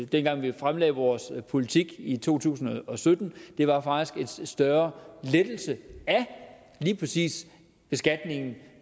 dengang vi fremlagde vores politik i to tusind og sytten var faktisk en større lettelse af lige præcis beskatningen